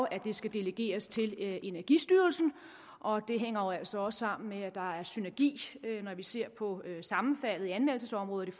at det skal delegeres til energistyrelsen og det hænger altså også sammen med at der er synergi når vi ser på sammenfaldet i anmeldelsesområdet